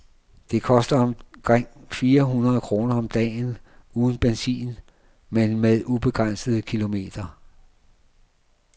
Det koster omkring fire hundrede kroner om dagen, uden benzin men med ubegrænsede kilometer.